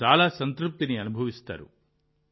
మీరు చాలా సంతృప్తిని అనుభవిస్తారు